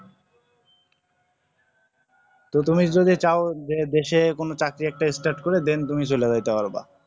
প্রথমে যদি চাও যদি দেশে কোন চাকরি একটা start করে then তুমি চলে যেতে পারবা